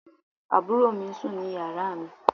àbúrò mi sùn ní yàrá mi